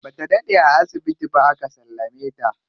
Bata daɗe a asibiti ba aka sallame ta.